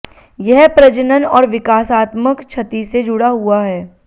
यह प्रजनन और विकासात्मक क्षति से जुड़ा हुआ है